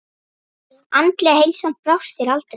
Andlega heilsan brást þér aldrei.